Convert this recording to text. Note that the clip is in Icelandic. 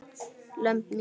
lömb mín.